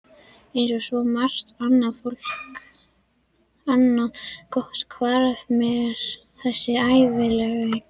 Eins og svo margt annað gott hvarf mér þessi hæfileiki.